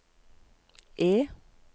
E